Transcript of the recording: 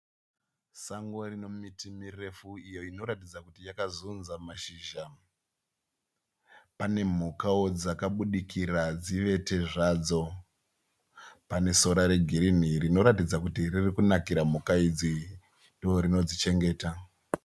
Sango rine miti mirefu iyo inoratidza kuti yakazudza mashizha. Pane mhukawo dzakabudikira dzivete zvadzo. Pane sora regirinhi rinoratidza kuti ririkunakira mhuka idzi, ndorinodzichengeta.